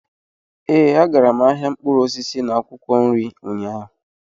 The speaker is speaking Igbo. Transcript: Ee, agara m ahịa mkpụrụ osisi na akwụkwọ nri ụnyaahụ